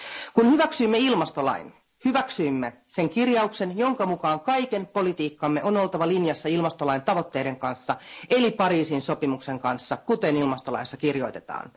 Kun hyväksyimme ilmastolain, hyväksyimme sen kirjauksen, jonka mukaan kaiken politiikkamme on oltava linjassa ilmastolain tavoitteiden kanssa eli Pariisin sopimuksen kanssa, kuten ilmastolaissa kirjoitetaan.